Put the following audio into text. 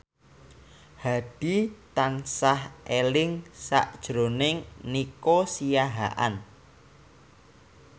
Hadi tansah eling sakjroning Nico Siahaan